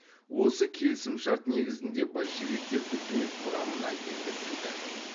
осы келісімшарт негізінде большевиктер үкімет құрамына енгізілді